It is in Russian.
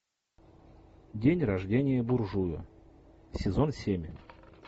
день рождения буржуя сезон семь